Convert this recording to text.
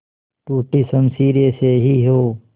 टूटी शमशीरें से ही हो